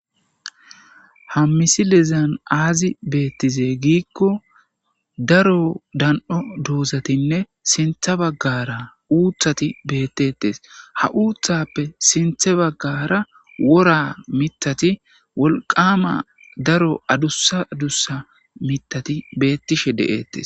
ha misilezan aazi beettize giikko daro dan'o doozatinne sinthe baggara uuthati beettettes ha uuththappe sinthe baggara wora mitati wolqama daro adusa dussa mitati beettishe de'ettes